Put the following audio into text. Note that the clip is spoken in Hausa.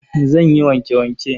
Zan yi wanke-wanke.